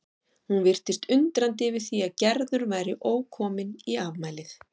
Hún virtist undrandi yfir því að Gerður væri ókomin í afmælið.